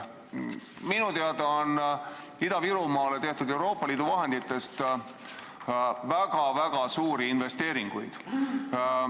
Minu teada on Ida-Virumaale tehtud Euroopa Liidu vahenditest väga-väga suuri investeeringuid.